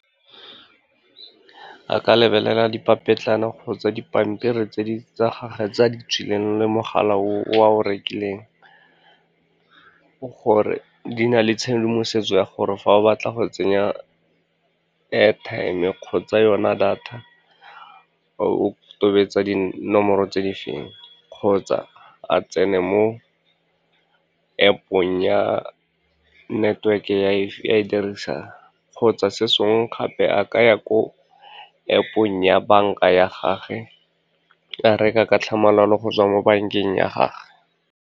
A ka lebelela dipapetlana kgotsa dipampiri tsa gagwe tsa di tswileng le mogala o a o rekileng gore di na le tshedimosetso ya gore fa o batla go tsenya airtime kgotsa yona data, o tobetsa dinomoro tse di efeng, kgotsa a tsene mo App-ong ya network-e e a e dirisang. Kgotsa se sengwe gape, a ka ya ko App-ong ya banka ya gage, a reka ka tlhamalalo go tswa mo bankeng ya gagwe.